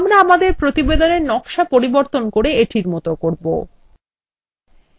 আমরা আমাদের প্রতিবেদনের নকশা পরিবর্তন করে এটির মত করব